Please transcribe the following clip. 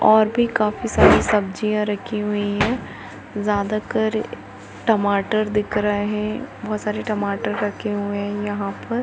और भी काफी सारी सब्जिया रखी हुई है। ज़्यादकर टमाटर दिख रहे बहुत सारे टमाटर रखे हुए है यहाँ पर